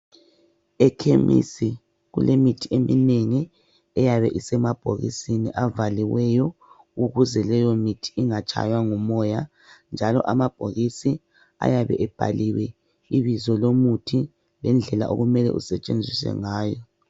Ekhemisi kulemithi eminengi eyabe isemabhokisini avaliweyo ukuze leyo mithi ingatshaywa ngumoya, njalo amabhokisi ayabe ebhaliwe ibizo lomuthi lendlela okumele usetshenziswe ngayo.